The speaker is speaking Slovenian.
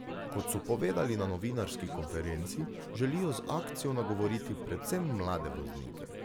Kot so povedali na novinarski konferenci, želijo z akcijo nagovoriti predvsem mlade voznike.